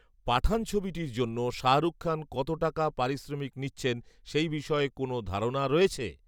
‘পাঠান’ ছবিটির জন্য শাহরুখ খান কত টাকা পারিশ্রমিক নিচ্ছেন, সেই বিষয়ে কোনও ধারণা রয়েছে?